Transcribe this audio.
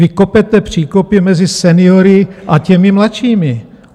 Vy kopete příkopy mezi seniory a těmi mladšími.